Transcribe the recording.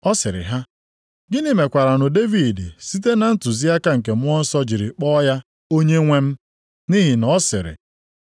Ọ sịrị ha, “Gịnị mekwaranụ Devid site na ntụziaka nke Mmụọ Nsọ jiri kpọọ ya ‘Onyenwe m’? Nʼihi na ọ sịrị,